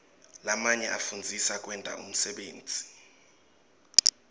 lamanye afundzisa kwenta umsebenti